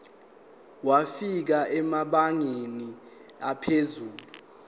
wafika emabangeni aphezulu